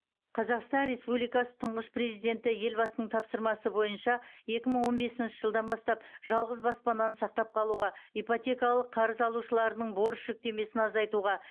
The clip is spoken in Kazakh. қазақстан республикасы тұңғыш президенті елбасының тапсырмасы бойынша екі мың он бесінші жылдан бастап жалғыз баспананы сақтап қалуға ипотекалық қарыз алушылардың борыш жүктемесін азайтуға